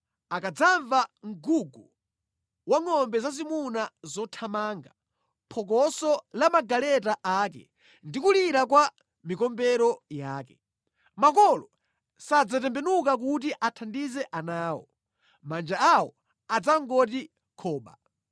akadzamva mgugu wa ngʼombe zazimuna zothamanga, phokoso la magaleta ake ndi kulira kwa mikombero yake. Makolo sadzatembenuka kuti athandize ana awo; manja awo adzangoti khoba.